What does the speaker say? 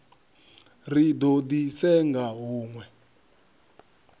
ri do di senga hunwe